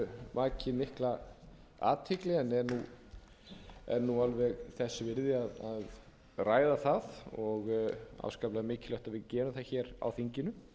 vakið mikla athygli en er nú alveg þess virði að ræða það og afskaplega mikilvægt að við gerum það á þinginu